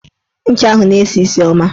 Ncha ahụ na-esi isi ọma